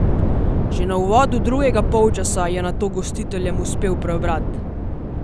Že na uvodu drugega polčasa je nato gostiteljem uspel preobrat!